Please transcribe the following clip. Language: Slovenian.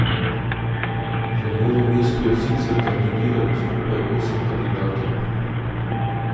V Novem mestu je sicer kandidiralo skupaj osem kandidatov.